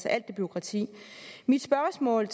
alt det bureaukrati mit spørgsmål